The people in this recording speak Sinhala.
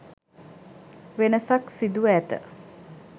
වෙනසක් සිදුව ඇත.